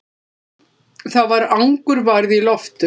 Það var angurværð í loftinu.